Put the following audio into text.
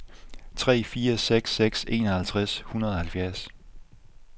tre fire seks seks enoghalvtreds et hundrede og halvfjerds